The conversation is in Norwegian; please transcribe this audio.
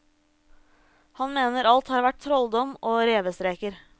Han mener alt har vært trolldom og revestreker.